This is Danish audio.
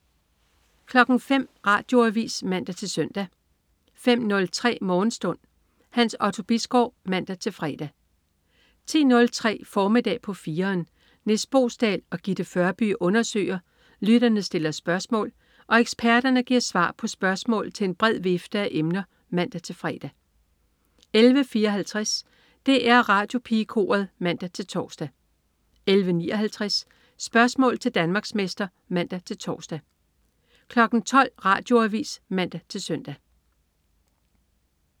05.00 Radioavis (man-søn) 05.03 Morgenstund. Hans Otto Bisgaard (man-fre) 10.03 Formiddag på 4'eren. Nis Boesdal og Gitte Førby undersøger, lytterne stiller spørgsmål og eksperterne giver svar på spørgsmål til en bred vifte af emner (man-fre) 11.54 DR Radiopigekoret (man-tors) 11.59 Spørgsmål til Danmarksmester (man-tors) 12.00 Radioavis (man-søn)